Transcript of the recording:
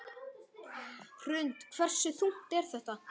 Hrund: Hversu þungt er þetta?